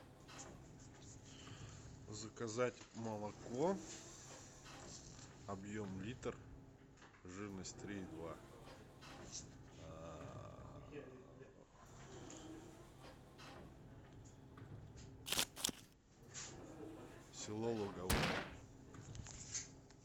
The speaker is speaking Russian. заказать молоко объем литр жирность три и два село луговое